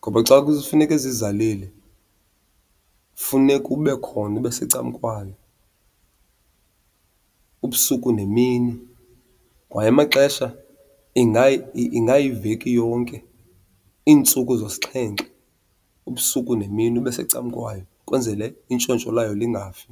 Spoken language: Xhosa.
ngoba xa kufuneke zizalile kufuneka ube khona, ube secam'kwayo ubusuku nemini. Kwaye amaxesha ingayiveki yonke, iintsuku zosixhenxe, ubusuku nemini ube secan'kwayo kwenzele intshontsho layo lingafi.